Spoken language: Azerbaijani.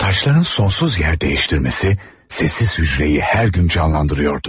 Taşların sonsuz yer dəyiştirməsi sessiz hücrəyi hər gün canlandırıyordu.